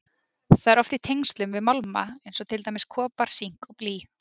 Það er oft í tengslum við málma eins og til dæmis kopar, sink og blý.